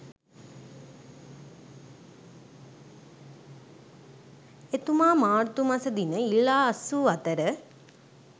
එතුමා මාර්තු මසදින ඉල්ලා අස්වූ අතර